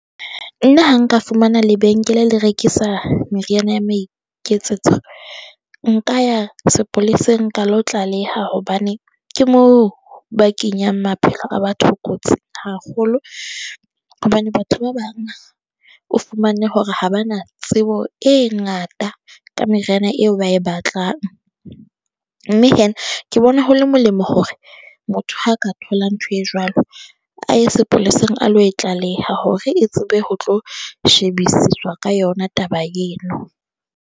Nna ha nka fumana lebenkele le rekisa meriana ya maiketsetso nka ya sepoleseng ka lo tlaleha. Hobane ke mo ba kenyang maphelo a batho kotsing haholo, hobane batho ba bang o fumane hore ha ba na tsebo e ngata ka meriana eo ba e batlang. Mme hee ke bona ho le molemo hore motho ha ka thola ntho e jwalo a ye sepoleseng a lo e tlaleha hore e tsebe ho tlo shebisiswa ka yona taba eno.